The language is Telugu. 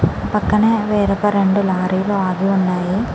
పక్కనే వేరొక రెండు లారీలు ఆగి ఉన్నాయి .